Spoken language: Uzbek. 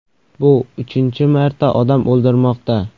Bu uchinchi marta odam o‘ldirmoqda.